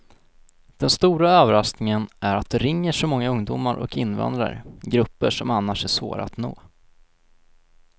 Den stora överraskningen är att det ringer så många ungdomar och invandrare, grupper som annars är svåra att nå.